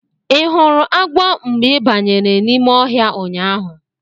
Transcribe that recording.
Ị hụrụ agwọ mgbe ị banyere n'ime ọhịa ụnyaahụ?